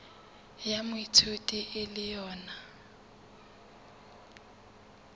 ya moithuti e le yona